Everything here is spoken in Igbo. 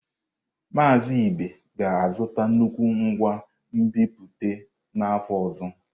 Mazị Ibe ga-azụta nnukwu ngwa nbipute n’afọ ọzọ.